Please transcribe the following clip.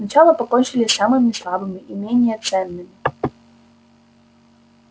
сначала покончили с самыми слабыми и менее ценными